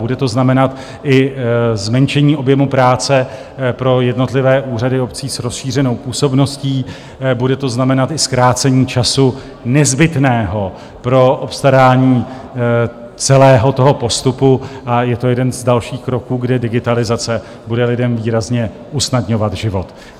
Bude to znamenat i zmenšení objemu práce pro jednotlivé úřady obcí s rozšířenou působností, bude to znamenat i zkrácení času nezbytného pro obstarání celého toho postupu a je to jeden z dalších kroků, kde digitalizace bude lidem výrazně usnadňovat život.